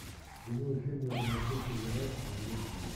прямой эфир между манчестер юнайтед и ливерпулем